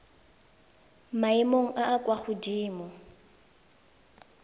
maemong a a kwa godimo